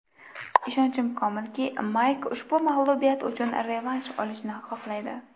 Ishonchim komilki, Mayk ushbu mag‘lubiyat uchun revansh olishni xohlaydi.